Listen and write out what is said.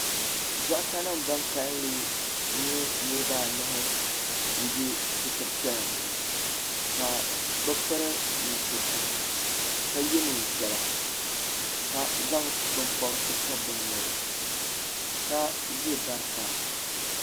Doɣata nima ban kalili nyɛ niriba anahi n be sitiri piɛla ni ŋɔ ka bɛ piri nusuriti ka ye niɛn'piɛla ka zaŋ binpobrisi pobi bɛ noli ka ʒɛ bari sani.